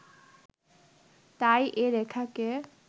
তাই এ রেখাকে